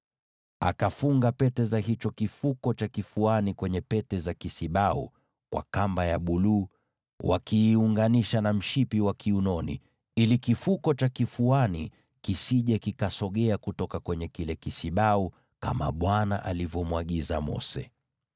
Akafunga pete za hicho kifuko cha kifuani kwenye pete za kisibau kwa kamba ya buluu, wakiziunganisha na ule mshipi wa kiunoni, ili kifuko cha kifuani kisisogee kutoka kwenye kile kisibau, kama Bwana alivyomwagiza Mose.